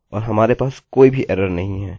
मैं इसे केवल जाँच रहा था